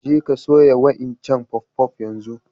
Je ka soya' wa'incan puff-puff yanzu!